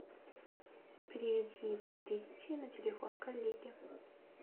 переведи три тысячи на телефон коллеги